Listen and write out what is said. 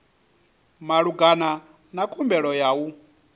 malugana na khumbelo ya u